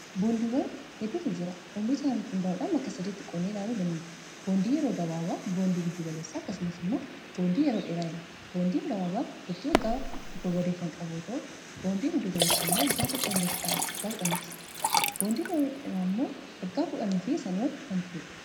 Boondiiwwan hedduutu jira oomiishasaanirratti hundaa'uudhan bakka 3 tti qodnee ilaaluu dandeenya boondii yeroo gabaaba boondii giddugaleessa akkasumas immoo boondii yeroo dheeraa jenna boondiin gabaabaan turtii waggaa tokko gaditti kan qabu yoota'u boondii giddugaleessaa waggaa tokkoo hanga kudhanii ti boondii yeroo dheeraa immoo waggaa kudhaniifi sanii ol kan turuudha.